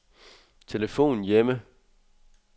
telefon hjemme